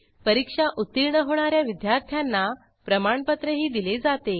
परीक्षा उत्तीर्ण होणा या विद्यार्थ्यांना प्रमाणपत्रही दिले जाते